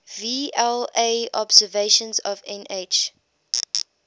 vla observations of nh